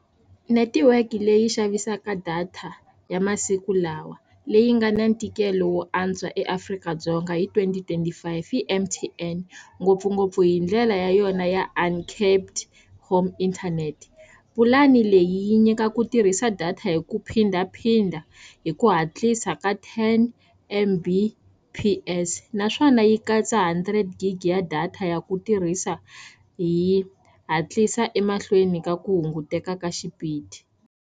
Netiweke leyi yi xavisaka data ya masiku lawa leyi nga na ntikelo wo antswa eAfrika-Dzonga hi twenty twenty five i M_T_N ngopfungopfu hi ndlela ya yona ya a uncapped home internet pulani leyi yi nyika ku tirhisa data hi ku phindaphinda hi ku hatlisa ka ten M_B_P_S naswona yi katsa hundred gig ya data ya ku tirhisa hi hatlisa emahlweni ka ku hunguteka ka xipidi.